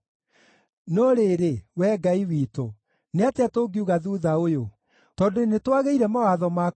“No rĩrĩ, Wee Ngai witũ-rĩ, nĩ atĩa tũngiuga thuutha ũyũ? Tondũ nĩtwagĩire mawatho maku bata